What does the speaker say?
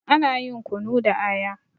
Ana yin kunu da aya.